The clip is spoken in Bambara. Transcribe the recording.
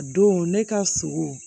A don ne ka sogo